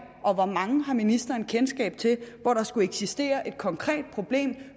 og hvor mange har ministeren kendskab til hvor der skulle eksistere et konkret problem